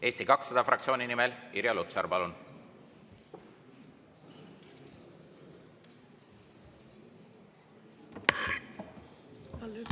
Eesti 200 fraktsiooni nimel Irja Lutsar, palun!